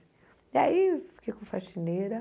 E aí eu fiquei com faxineira.